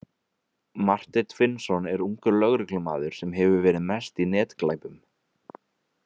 Marteinn Finnsson er ungur lögreglumaður sem hefur verið mest í netglæpum.